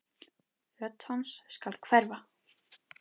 Rödd hans skal hverfa.